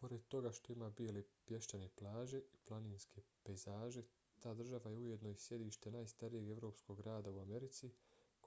pored toga što ima bijele pješčane plaže i planinske pejzaže ta država je ujedno i sjedište najstarijeg evropskog grada u americi